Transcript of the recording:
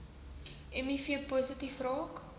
miv positief raak